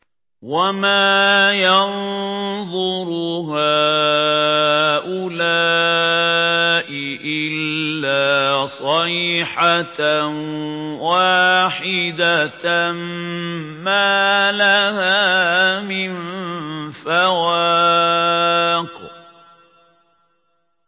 وَمَا يَنظُرُ هَٰؤُلَاءِ إِلَّا صَيْحَةً وَاحِدَةً مَّا لَهَا مِن فَوَاقٍ